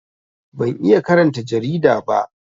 Ban iya karanta jarida ba